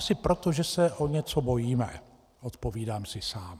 Asi proto, že se o něco bojíme, odpovídám si sám.